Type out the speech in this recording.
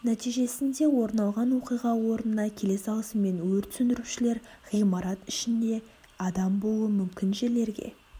нәтижесінде орын алған оқиға орнына келе салысымен өрт сөндірушілер ғимарат ішінде адам болуы мүмкін жерлерге